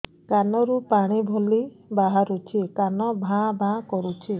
କାନ ରୁ ପାଣି ଭଳି ବାହାରୁଛି କାନ ଭାଁ ଭାଁ କରୁଛି